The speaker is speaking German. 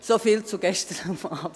So viel zu gestern Abend.